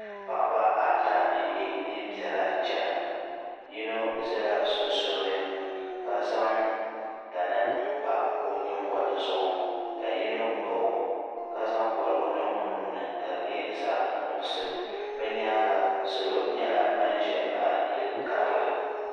Paɣaba ata n ye niɛn'piɛla chena yino zala sunsuuni ka zaŋ tani m pa o nyingoli zuɣu ka yino baɣi o ka zaŋ koligu niŋ o luɣuli ni ka di nyɛ zaɣa nuɣuso bɛ nyaanga salo nyɛla ban ʒɛm baɣi yili karili.